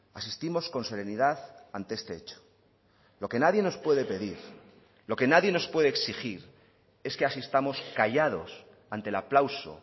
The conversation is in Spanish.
asistimos con serenidad ante este hecho lo que nadie nos puede pedir lo que nadie nos puede exigir es que asistamos callados ante el aplauso